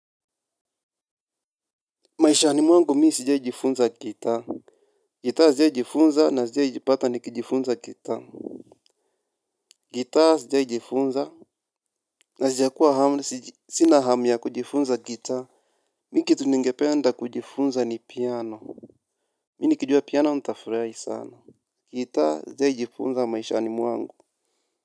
Maishani mwangu mimi sijiaijifunza gitaa, gitaa sijiajifunza na sijia jipata ni kijifunza gitaa. Gitaa sijiajifunza na sijia kuwa hama, sina hamu ya kujifunza gitaa, mimi kitu ningependa kujifunza ni piano. Mimi nikijua piano nitafurahi sana, gitaa sijia jifunza maishani mwangu.